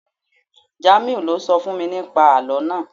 Jamiu lo sọ fún mi ní pa àlọ́ naa